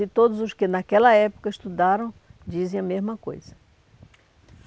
E todos os que naquela época estudaram dizem a mesma coisa.